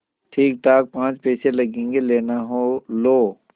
ठीकठाक पाँच पैसे लगेंगे लेना हो लो